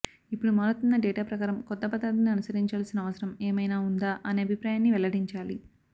ఇప్పడు మారుతున్న డేటా ప్రకారం కొత్త పద్దతిని అనుసరించాల్సిన అవసరం ఏమైనా ఉందా అనే అభిప్రాయాన్ని వెల్లడించాలి